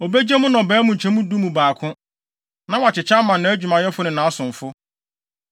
Obegye mo nnɔbae mu nkyɛmu du mu baako, na wakyekyɛ ama nʼadwumayɛfo ne nʼasomfo.